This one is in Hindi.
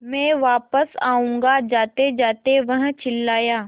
मैं वापस आऊँगा जातेजाते वह चिल्लाया